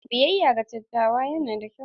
Biyayya ga dattawa yana da kyau.